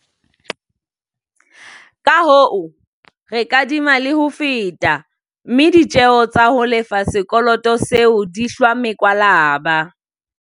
Kahoo, re kadima le ho feta, mme ditjeo tsa ho lefa sekoloto seo di hlwa mekwalaba.